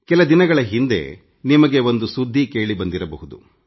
ಕೆಲ ದಿನಗಳ ಹಿಂದೆ ನಿಮಗೆ ಒಂದು ಸುದ್ದಿ ಕೇಳಿಬಂದಿರಬಹುದು